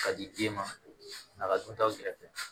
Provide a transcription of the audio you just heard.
Ka di den ma a ka duntaw kɛrɛfɛ